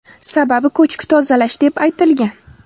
Sababi ko‘chki tozalash deb aytilgan.